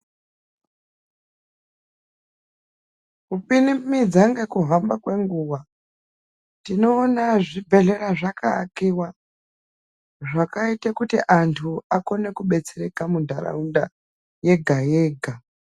Kupinimidza ngekuhamba kwenguwa, tinoona zvibhedhlera zvakaakiwa, zvakaita kuti anthu akone kubetsereka munharaunda yega yega.